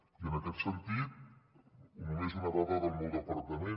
i en aquest sentit només una dada del meu departament